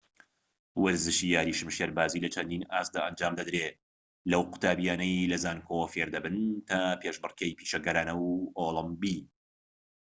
وەرزشی یاری شمشێربازی لە چەندین ئاستدا ئەنجام دەدرێت لەو قوتابیانەی لەزانکۆوە فێردەبن تا پێشبڕکێی پیشەگەرانە و ئۆلیمپی